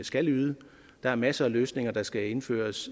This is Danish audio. skal yde der er masser af løsninger der skal indføres